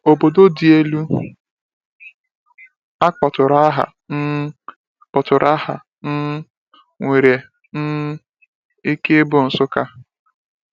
Obodo dị elu a kpọtụrụ aha um kpọtụrụ aha um nwere um ike ịbụ Nsukka.